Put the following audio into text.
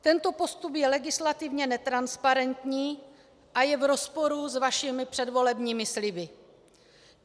Tento postup je legislativně netransparentní a je v rozporu s vašimi předvolebními sliby.